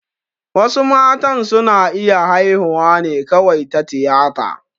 Wasu matan su na iya haihuwa ne kawai ta tiyata